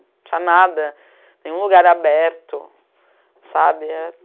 Não tinha nada, nenhum lugar aberto, sabe?